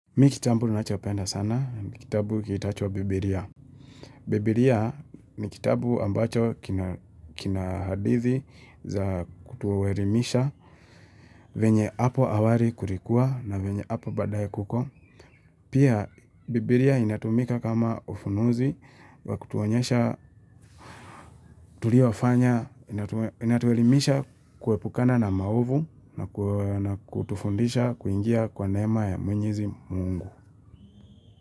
Mi kitabu ninachopenda sana ni kitabu kiitachwo Bibilia. Bibilia ni kitabu ambacho kina hadithi za kutuelimisha venye hapo awali kulikua na venye hapo baadaye kuko. Pia, Bibilia inatumika kama ufunuzi wa kutuonyesha tuliofanya, inatuelimisha kuepukana na maovu na kutufundisha kuingia kwa neema ya mwenyezi mungu.